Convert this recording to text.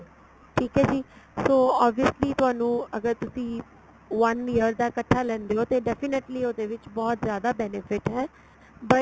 ਠੀਕ ਏ ਜੀ so obviously ਤੁਹਾਨੂੰ ਅਗਰ ਤੁਸੀਂ one year ਦਾ ਇੱਕਠਾ ਲੈਂਦੇ ਓ ਤੇ definitely ਉਹਦੇ ਵਿੱਚ ਬਹੁਤ ਜਿਆਦਾ benefit ਏ but